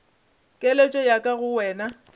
keletšo ya ka go wena